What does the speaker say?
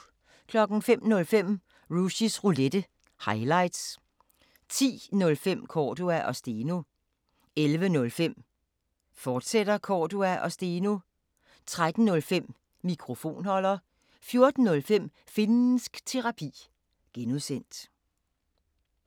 05:05: Rushys Roulette – highlights 10:05: Cordua & Steno 11:05: Cordua & Steno, fortsat 13:05: Mikrofonholder 14:05: Finnsk Terapi (G)